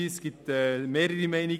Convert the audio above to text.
Es bestehen mehrere Meinungen.